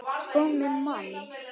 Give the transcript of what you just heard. Sko minn mann!